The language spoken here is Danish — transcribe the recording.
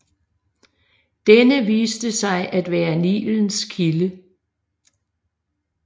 Denne viste sig at være Nilens kilde